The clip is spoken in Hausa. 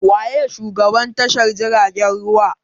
Wa ye shugaban tashar jiragen ruwa?